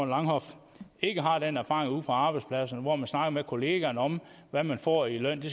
langhoff ikke har den erfaring ude fra arbejdspladserne hvor man snakker med kollegaerne om hvad man får i løn det